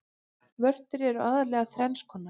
Vörtur eru aðallega þrenns konar.